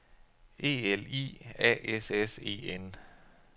E L I A S S E N